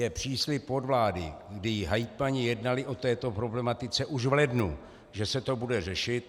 Je příslib od vlády, kdy hejtmani jednali o této problematice už v lednu, že se to bude řešit.